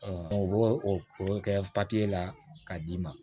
o b'o o kɛ la k'a d'i ma